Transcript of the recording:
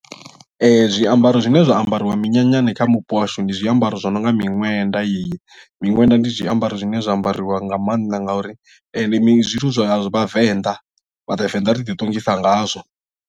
Zwiambaro zwine zwa ambariwa minyanyani kha mupo washu ndi zwiambaro zwi no nga miṅwenda yeyi miṅwenda ndi zwiambaro zwine zwa ambariwa nga maanḓa ngauri ndi zwithu zwa vhavenḓa vha vhavenḓa ri ḓiṱongisa ngazwo.